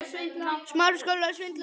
Keyri ég hratt?